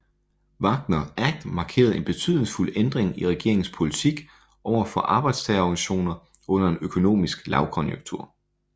Wagner Act markerede en betydningsfuld ændring i regeringens politik overfor arbejdstagerorganisationer under en økonomisk lavkonjunktur